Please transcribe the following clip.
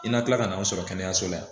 I na kila ka na anw sɔrɔ kɛnɛyaso la yan